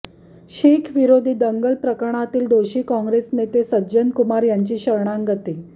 शीखविरोधी दंगलप्रकरणातील दोषी काँग्रेस नेते सज्जन कुमार यांची शरणागती